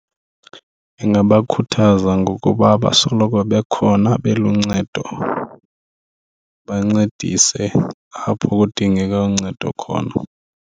Ingabakhuthaza ngokuba basoloko bekhona beluncedo, bancedise apho kudingeka uncedo khona.